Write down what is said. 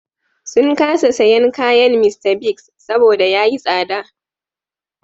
Sun kasa sayen kayan Mr. Biggs saboda ya yi tsada.